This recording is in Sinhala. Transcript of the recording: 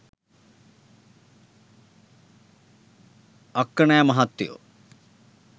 අක්කනෑ මහත්තයෝ